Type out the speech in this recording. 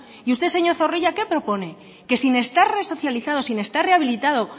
y usted señor zorrilla qué propone que sin estar resocializado sin estar rehabilitado